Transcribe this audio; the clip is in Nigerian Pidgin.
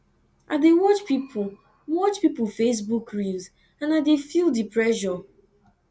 i dey watch pipo watch pipo facebook reels and i dey feel di pressure